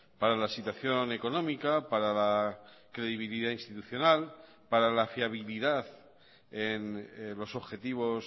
para la situación económica para la credibilidad institucional para la fiabilidad en los objetivos